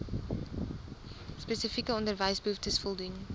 spesifieke onderwysbehoeftes voldoen